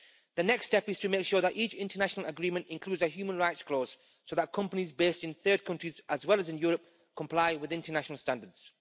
The next step is to make sure that each international agreement includes a human rights clause so that companies based in third countries, as well as in Europe, comply with international standards.